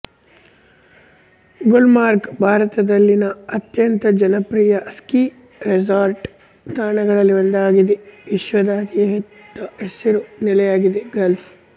ಗುಲ್ಮಾರ್ಗ್ ಭಾರತದಲ್ಲಿನ ಅತ್ಯಂತ ಜನಪ್ರಿಯ ಸ್ಕೀ ರೆಸಾರ್ಟ್ ತಾಣಗಳಲ್ಲಿ ಒಂದಾಗಿದೆ ವಿಶ್ವದ ಅತಿ ದೊಡ್ಡ ಹಸಿರು ನೆಲೆಯಾಗಿದೆ ಗಾಲ್ಫ್